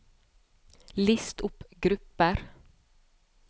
list opp grupper